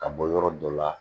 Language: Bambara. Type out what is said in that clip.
Ka bɔ yɔrɔ dɔ la